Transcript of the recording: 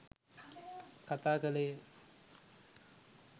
කථා කළේය